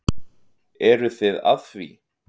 Eruð þið að því?